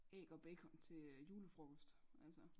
Æg og bacon til julefrokost altså